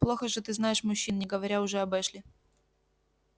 плохо же ты знаешь мужчин не говоря уже об эшли